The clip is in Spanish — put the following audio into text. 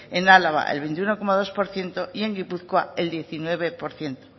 en álava el veintiuno coma dos por ciento y en gipuzkoa el diecinueve por ciento